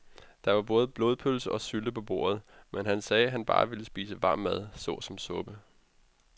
Der var både blodpølse og sylte på bordet, men han sagde, at han bare ville spise varm mad såsom suppe.